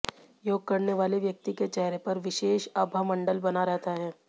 योग करने वाले व्यक्ति के चेहरे पर विशेष आभामंडल बना रहता है